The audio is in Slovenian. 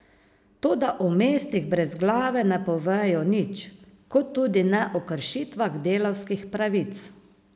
Toda o mestih brez glave ne povejo nič, kot tudi ne o kršitvah delavskih pravic.